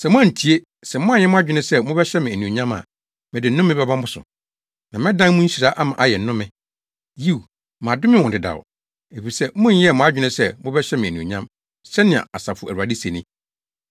Sɛ moantie, sɛ moanyɛ mo adwene sɛ mobɛhyɛ me anuonyam a mede nnome bɛba mo so, na mɛdan mo nhyira ama ayɛ nnome. Yiw, madome wɔn dedaw, efisɛ monyɛɛ mo adwene sɛ mobɛhyɛ me anuonyam, sɛnea Asafo Awurade se ni.